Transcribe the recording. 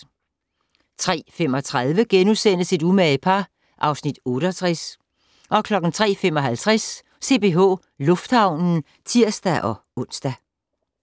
03:35: Et umage par (Afs. 68)* 03:55: CPH Lufthavnen (tir-ons)